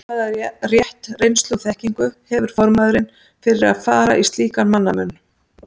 Hvaða rétt, reynslu og þekkingu hefur formaðurinn fyrir að fara í slíkan mannamun?